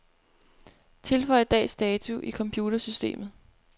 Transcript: Tilføj dags dato i computersystemet.